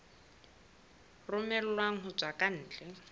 romellwang ho tswa ka ntle